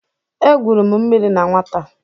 Egwuru m mmiri na nwata.